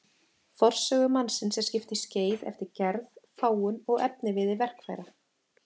Forsögu mannsins er skipt í skeið eftir gerð, fágun og efniviði verkfæra.